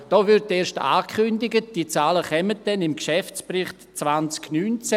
Hier wird erst angekündigt, diese Zahlen kämen dann im Geschäftsbericht 2019.